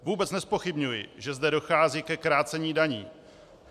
Vůbec nezpochybňuji, že zde dochází ke krácení daní.